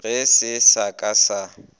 ge se sa ka sa